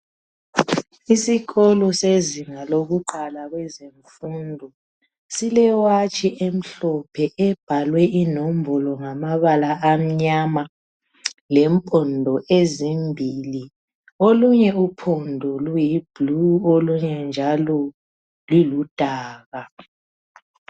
Isikolo sezinga lokuqala kwezemfundo sile watshi emhlophe ebhalwe inombolo ngamabala amnyama lempondo ezimbili olunye uphondo luyi bhulu olunye njalo luludaka.